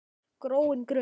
gróin grund!